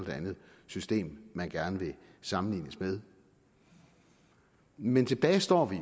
det andet system man gerne vil sammenlignes med men tilbage står vi